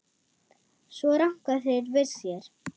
Svo ranka þeir við sér.